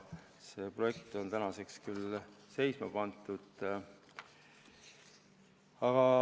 See projekt on tänaseks küll seisma pandud.